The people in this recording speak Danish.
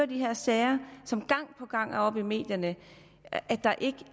de her sager som gang på gang er oppe i medierne at der ikke